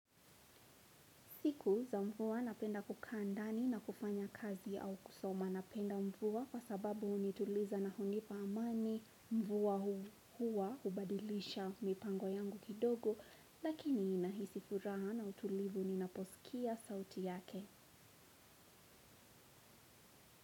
Siku za mvua napenda kukaa ndani na kufanya kazi au kusoma napenda mvua kwa sababu hunituliza na hunipa amani mvua huwa hubadilisha mipango yangu kidogo lakini ninahisi furaha na utulivu ninaposikia sauti yake.